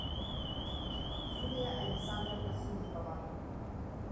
юлия александровна филипова